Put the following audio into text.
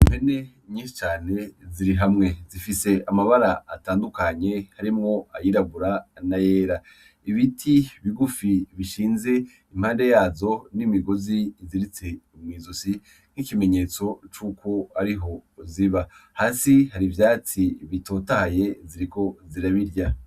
Impene nyinshi cane ziri hamwe, zifise amabara atandukanye harimwo ayirabura n'ayera. Ibiti bigufi bishinze impande yazo n'imigozi iziritse mw'izosi nk'ikimenyetso c'uko ariho ziba. Hasi hari ivyatsi bitotahaye ziriko zirabirya.